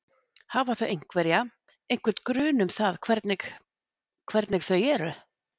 Hafa þau einhverja, einhvern grun um það hvernig hvernig þau eru?